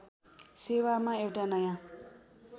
सेवामा एउटा नयाँ